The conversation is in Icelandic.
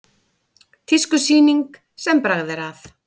Tískusýning sem bragð er að